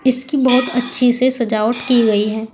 इसकी बहुत अच्छी से सजावट की गई है।